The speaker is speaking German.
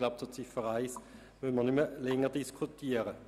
Ich glaube, Ziffer 1 müssen wir nicht mehr länger diskutieren.